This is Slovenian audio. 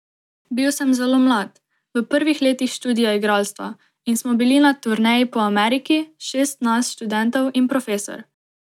Bil sem zelo mlad, v prvih letih študija igralstva, in smo bili na turneji po Ameriki, šest nas študentov in profesor.